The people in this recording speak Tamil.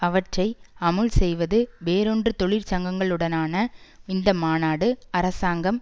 அவற்றை அமுல் செய்வது வேறொன்றுதொழிற்சங்கங்களுடனான இந்த மாநாடுஅரசாங்கம்